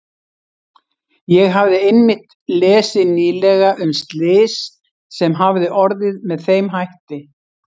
Ég hafði einmitt lesið nýlega um slys sem hafði orðið með þeim hætti.